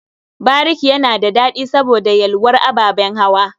Bariki yana da daɗi saboda yalwar ababen hawa.